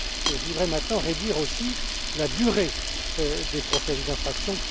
Je voudrais maintenant réduire aussi la durée des procédures d'infraction.